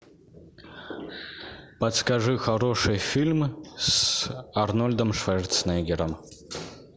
подскажи хорошие фильмы с арнольдом шварценеггером